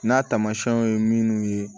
N'a tamasiyɛnw ye minnu ye